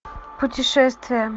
путешествие